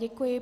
Děkuji.